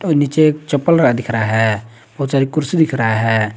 नीचे एक चप्पल दिख रहा है बहुत सारी कुर्सी दिख रहा है।